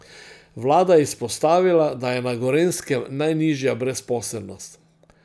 Vlada izpostavila, da je na Gorenjskem najnižja brezposelnost.